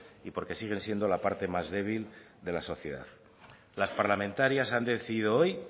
y porque siguen siendo la parte más débil de la sociedad las parlamentarias han decidido hoy